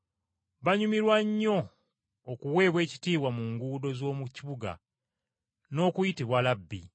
Banyumirwa nnyo okuweebwa ekitiibwa mu butale n’okuyitibwa ‘Labbi.’